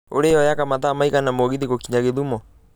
olly yoyaga mathaa maigana mũgithi gũkinya githumo